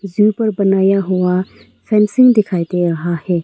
जू पर बनाया हुआ फेंसिंग दिखाई दे रहा है।